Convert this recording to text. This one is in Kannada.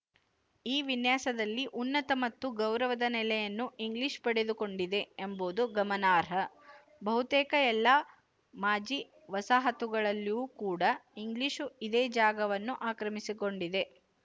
ಈ ವಿನ್ಯಾಸದಲ್ಲಿ ಉನ್ನತ ಮತ್ತು ಗೌರವದ ನೆಲೆಯನ್ನು ಇಂಗ್ಲಿಶು ಪಡೆದುಕೊಂಡಿದೆ ಎಂಬುದು ಗಮನಾರ್ಹ ಬಹುತೇಕ ಎಲ್ಲ ಮಾಜಿ ವಸಾಹತುಗಳಲ್ಲಿಯೂ ಕೂಡ ಇಂಗ್ಲಿಶು ಇದೇ ಜಾಗವನ್ನು ಆಕ್ರಮಿಸಿಕೊಂಡಿದೆ